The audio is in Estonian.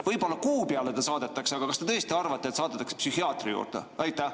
Võib-olla kuu peale ta saadetakse, aga kas te tõesti arvate, et saadetakse psühhiaatri juurde?